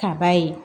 Ka ba ye